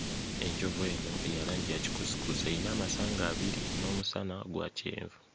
Enjovu eno eya langi ya kikuusikuusi eyina amasanga abiri n'omusana gwa kyenvu.